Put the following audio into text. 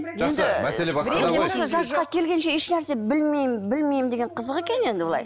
жақсы мәселе басқада ғой жасқа келгенше ешнәрсе білмеймін білмеймін дегені қызық екен енді былай